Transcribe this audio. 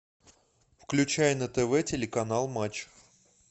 включай на тв телеканал матч